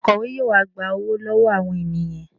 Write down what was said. Akọ̀we yóò wá gba owó lọ́wọ́ àwọn ènìyàn